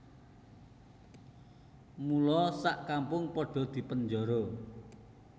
Mula sak kampung padha dipenjara